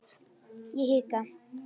Ég hika.